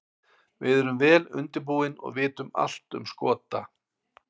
Við erum vel undirbúin og vitum allt um Skota.